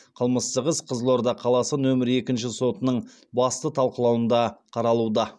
қылмыстық іс қызылорда қаласы нөмірі екінші сотының басты талқылауында қаралуда